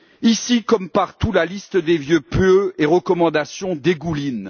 Ici, comme partout, la liste des vœux pieux et recommandations dégouline.